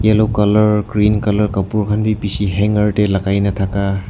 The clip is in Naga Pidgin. yellow colour green colour kapur khan bhi bishi hanger teh lagai ne thaka.